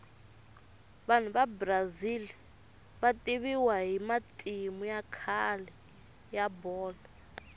vanhu vabrazil vativiwa hhimatimu yakhale yabholoi